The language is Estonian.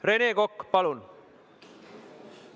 Rene Kokk, palun!